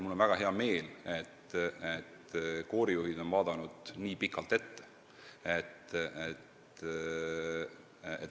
Mul on väga hea meel, et koorijuhid on vaadanud nii pikalt ette.